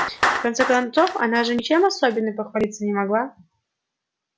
в конце концов она же ничем особенным похвалиться не могла